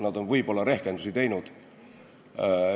Nad on võib-olla rehkendusi teinud.